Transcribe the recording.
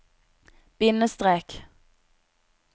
bindestrek